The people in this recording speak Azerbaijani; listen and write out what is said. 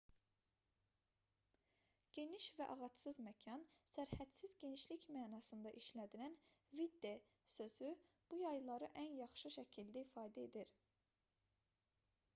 geniş və ağacsız məkan sərhədsiz genişlik mənasında işlədilən vidde sözü bu yayları ən yaxşı şəkildə ifadə edir